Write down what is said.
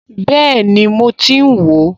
Bẹ́ẹ̀ni mo ti ń wò ó